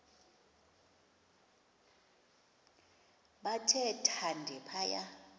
bathe thande phaya